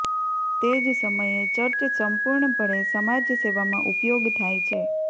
તે જ સમયે ચર્ચ સંપૂર્ણપણે સમાજ સેવામાં ઉપયોગ થાય છે